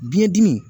Biyɛn dimi